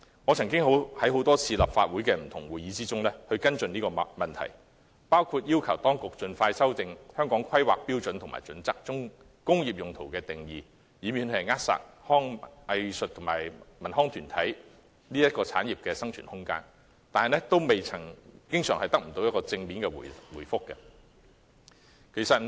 我曾多次在立法會不同會議上跟進這個問題，包括要求當局盡快修訂《規劃標準》中工業用途的定義，以免扼殺藝術及文康產業的生存空間，但經常不獲正面答覆。